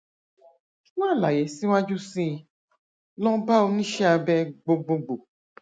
fún àlàyé síwájú sí i lọ bá oníṣẹ abẹ gbogbogbò